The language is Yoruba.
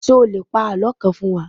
Ṣé o lè pa àlọ́ kan fún wa?